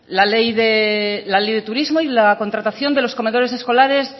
la ley de turismo y la contratación de los comedores escolares